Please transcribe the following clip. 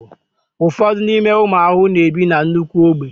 ụfọdụ n'ime ụmụ ahụhụ na-ebi na nnukwu ogbe